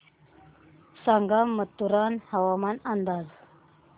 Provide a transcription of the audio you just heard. सांगा मथुरा हवामान अंदाज